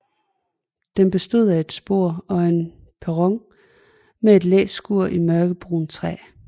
Den bestod af et spor og en perron med et læskur i mørkebrunt træ